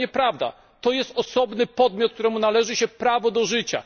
To nieprawda, to jest osobny podmiot, któremu należy się prawo do życia.